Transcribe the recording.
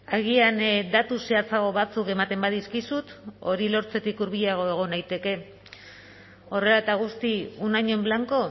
agian datu zehatzago batzuk ematen badizkizut hori lortzetik hurbilago egon naiteke horrela eta guzti un año en blanco